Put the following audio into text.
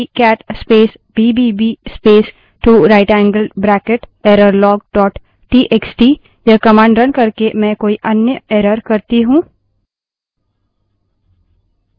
अब मानिए कि cat space bbb space two right angled bracket error log dot TXT cat space bbb space 2 rightangled bracket errorlog txt यह command now करके मैं कोई अन्य error करती हूँ